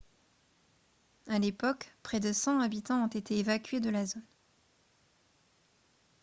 à l'époque près de 100 habitants ont été évacués de la zone